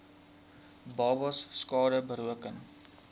babas skade berokken